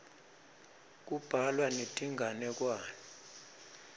kubhalwa netinganekwane